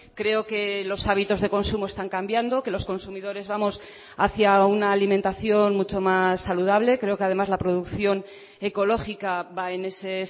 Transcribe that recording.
creo que los hábitos de consumo están cambiando que los consumidores vamos hacia una alimentación mucho más saludable creo que además la producción ecológica va en ese